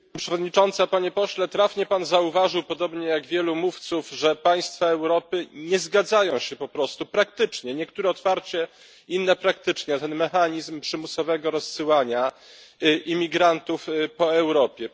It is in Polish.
Pani Przewodnicząca! Panie pośle! Trafnie pan zauważył, podobnie jak wielu mówców, że państwa Europy nie zgadzają się po prostu niektóre otwarcie, inne praktycznie na ten mechanizm przymusowego rozsyłania imigrantów po Europie.